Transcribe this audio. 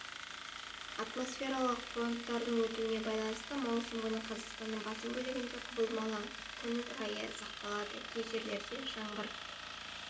атмосфералық фронттардың өтуіне байланысты маусым күні қазақстанның басым бөлігінде құбылмалы күн райы сақталады кей жерлерде жаңбыр